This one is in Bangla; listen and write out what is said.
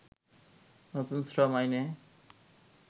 নতুন শ্রম আইনে